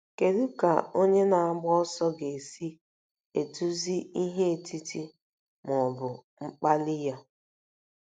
Kedu ka onye na-agba ọsọ ga-esi eduzi ihe otiti ma ọ bụ mkpali ya?